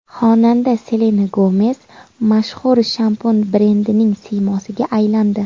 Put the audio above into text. Xonanda Selena Gomes mashhur shampun brendining siymosiga aylandi.